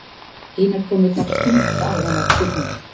Hinar konurnar punda á hana spurningum